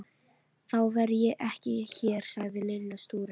Þá verð ég ekki hér sagði Lilla stúrin.